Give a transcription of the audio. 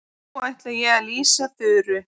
Nú ætla ég að lýsa Þuru.